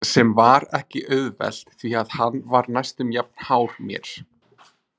Sem var ekki auðvelt því að hann var næstum jafn hár mér.